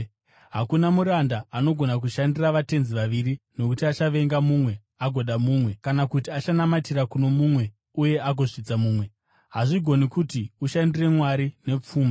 “Hakuna muranda angagona kushandira vatenzi vaviri. Nokuti achavenga mumwe agoda mumwe, kana kuti achanamatira kuno mumwe uye agozvidza mumwe. Hazvigoni kuti ushandire Mwari nepfuma.”